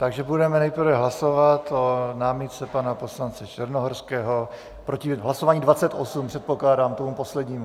Takže budeme nejprve hlasovat o námitce pana poslance Černohorského proti hlasování 28, předpokládám, tomu poslednímu.